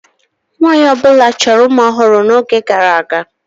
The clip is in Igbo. Nwaanyị ọ bụla chọrọ ụmụ ọhụrụ n'oge gara aga.